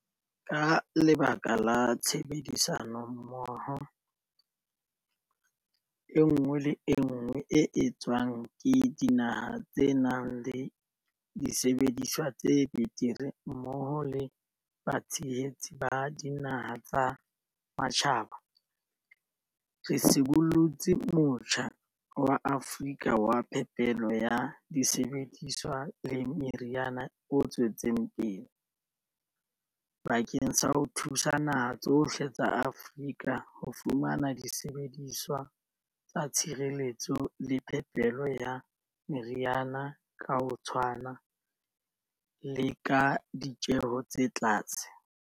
Ka lebaka la tshebedisano mmoho enngwe le enngwe e etswang le dinaha tse nang le disebediswa tse betere mmoho le batshehetsi ba dinaha tsa matjhabatjhaba, re sibollotse Motjha wa Afrika wa Phepelo ya Disebediswa le Meriana o tswetseng pele, bakeng sa ho thusa dinaha tsohle tsa Afrika ho fumana disebediswa tsa tshireletso le phepelo ya meriana ka ho tshwana le ka ditjeho tse tlase.